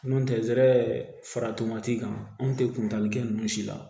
N'o tɛ zɛrɛ fara tomati kan anw tɛ kuntaala kɛ ninnu si la